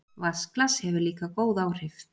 Vatnsglas hefur líka góð áhrif.